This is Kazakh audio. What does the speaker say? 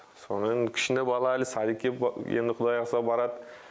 сонымен кішіне бала әлі садикке енді құдай қаласа барады